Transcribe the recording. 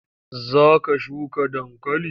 Za ka shuka dankali?